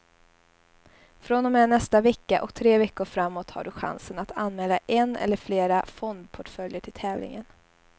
Från och med nästa vecka och tre veckor framåt har du chansen att anmäla en eller flera fondportföljer till tävlingen.